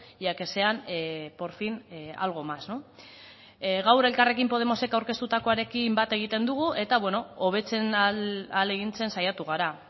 y a que sean por fin algo más gaur elkarrekin podemosek aurkeztutakoarekin bat egiten dugu eta hobetzen ahalegintzen saiatu gara